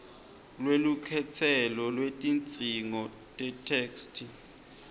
lwelukhetselo lwetidzingo tetheksthi